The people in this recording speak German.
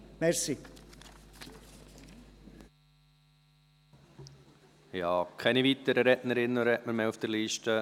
Ich habe keine weiteren Rednerinnen und Redner auf der Liste.